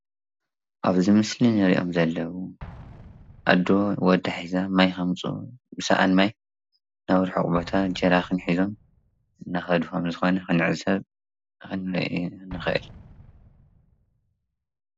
ኣብዚ ምስሊ ንሪኦም ዘለዉ ኣዶ ወዳ ሒዛ ማይ ከምፁ ብሳኣን ማይ ናብ ርሑቅ ቦታ ጀራኺን ሒዞም እናከዱ ከምዝኮነ ክንዕዘብ ንክእል ።